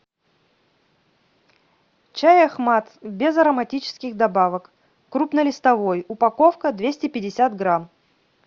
чай ахмад без ароматических добавок крупнолистовой упаковка двести пятьдесят грамм